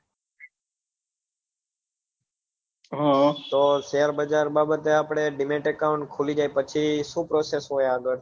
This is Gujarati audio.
હા તો share બજાર બાબત એ આપડે demat account ખુલી જાય પછી સુ process હોય આગળ